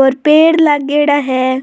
और पेड़ लागेड़ा है।